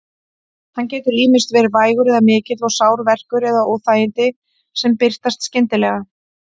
Hann getur ýmist verið vægur eða mikill og sár verkur eða óþægindi sem birtast skyndilega.